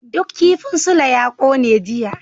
Duk kifin Sule ya kone jiya.